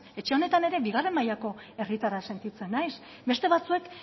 etxe honetan ere bigarren mailako herritarra sentitzen naiz beste batzuek